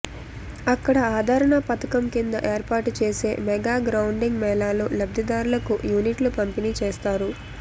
అక్కడ ఆదరణ పథకం కింద ఏర్పాటుచేసే మెగా గ్రౌండింగ్ మేళాలో లబ్ధిదారులకు యూనిట్లు పంపిణీ చేస్తారు